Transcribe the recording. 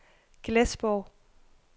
Glesborg